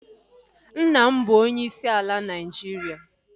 Nna m bụ onyeisi ala Naịjiria